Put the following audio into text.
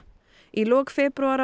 í lok febrúar